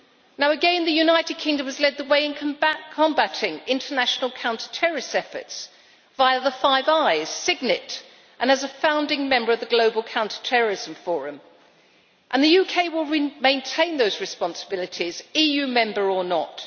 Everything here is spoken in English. Now again, the United Kingdom has led the way in combating international counter terrorist efforts via the Five Eyes, Signet and as a founding member of the Global Counter Terrorism Forum, and the UK will maintain those responsibilities, EU member or not.